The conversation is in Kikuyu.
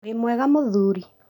Wĩ mwega ũthuri